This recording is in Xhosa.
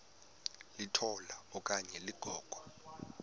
litola okanye ligogo